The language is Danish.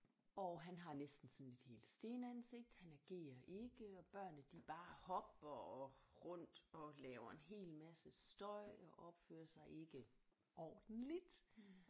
Og han har næsten sådan et helt stenansigt han agerer ikke og børnene de bare hopper og rundt og laver en hel masse støj og opfører sig ikke ordentligt